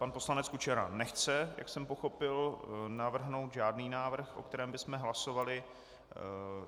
Pan poslanec Kučera nechce, jak jsem pochopil, navrhnout žádný návrh, o kterém bychom hlasovali.